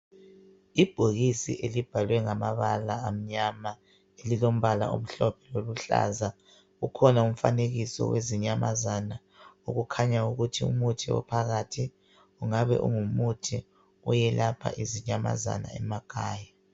Ibhokisi elibhalwe ngamabala amnyama elilombala omhlophe loluhlaza, ukhona umfanekiso wezinyamazana okukhanya ukuthi umuthi ophakathi ungabe ungumuthi oyelapha izinyamazana emakhaya.